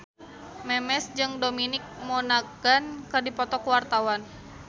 Memes jeung Dominic Monaghan keur dipoto ku wartawan